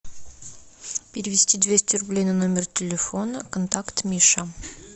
перевести двести рублей на номер телефона контакт миша